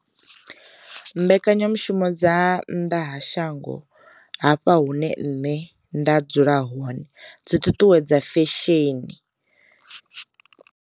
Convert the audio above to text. Mbekanyamushumo dza nnḓa ha shango, hafha hune nṋe nda dzula hone dzi ṱuṱuwedza fesheni.